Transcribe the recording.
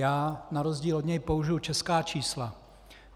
Já na rozdíl od něj použiji česká čísla.